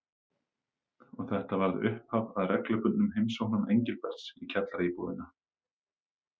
Og þetta varð upphaf að reglubundnum heimsóknum Engilberts í kjallaraíbúðina.